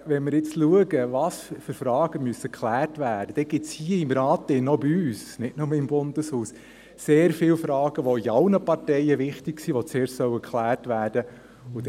Wenn wir sehen, welche Fragen überhaupt geklärt werden müssen, dann gibt es hier im Rat, auch bei uns, nicht nur im Bundeshaus, sehr viele Fragen, die für alle Parteien wichtig sind, und die zuerst geklärt werden sollen.